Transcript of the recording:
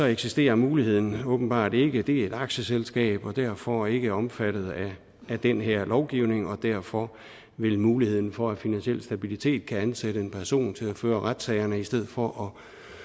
eksisterer muligheden åbenbart ikke det er et aktieselskab og er derfor ikke omfattet af den her lovgivning og derfor vil muligheden for at finansiel stabilitet kan ansætte en person til at føre retssagerne i stedet for